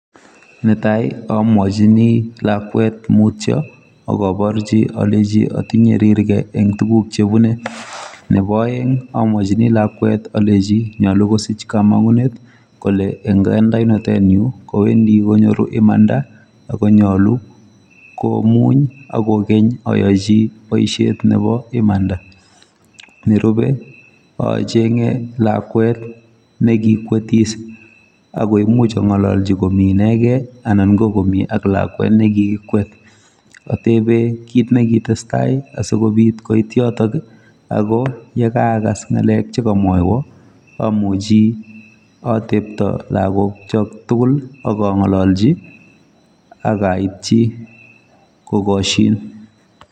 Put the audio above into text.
Netaii amwachini lakwet mutyo akalenjiii atinuee roryaa Eng tugun chepune Nepo aeek alenjin amuchii Saachi poishet neposomok amuchi atetaaa lagook Chu tugul AK angalalchiii akalenjiii kokashiin